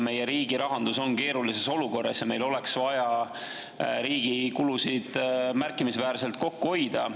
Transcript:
Meie riigi rahandus on keerulises olukorras ja meil oleks vaja riigi kulusid märkimisväärselt kokku hoida.